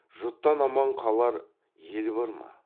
жұттан аман қалар ел бар ма